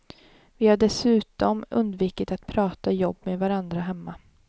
Vi har dessutom undvikit att prata jobb med varandra hemma.